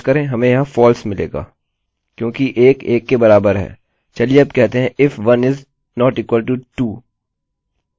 refresh करें हमें यहाँ false मिलेगा क्योंकि 1 बराबर है 1 के चलिए अब कहते हैं if 1 is not equal to 2